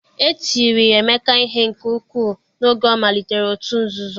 e tiri emeka ihe nke ukwuu n'oge ọ malitere òtù nzuzo